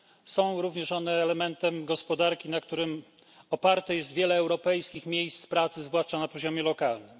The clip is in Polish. Są one także elementem gospodarki, na którym opartych jest wiele europejskich miejsc pracy, zwłaszcza na poziomie lokalnym.